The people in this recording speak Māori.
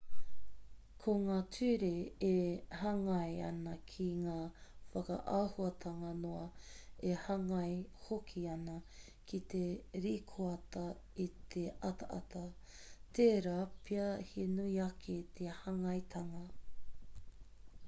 ko ngā ture e hāngai ana ki ngā whakaahuatanga noa e hāngai hoki ana ki te rīkoata i te ataata tērā pea he nui ake te hāngaitanga